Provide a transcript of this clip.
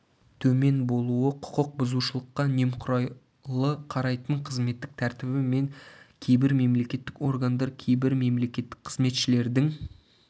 төмен болуы құқық бұзушылыққа немқұрайды қарайтын қызметтік тәртібі төмен кейбір мемлекеттік органдар кейбір мемлекеттік қызметшілердің